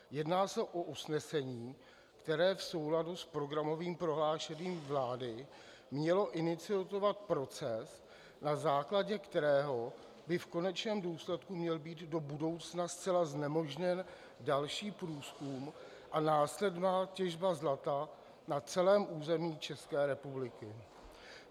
Jedná se o usnesení, které v souladu s programovým prohlášením vlády mělo iniciovat proces, na základě kterého by v konečném důsledku měl být do budoucna zcela znemožněn další průzkum a následná těžba zlata na celém území České republiky.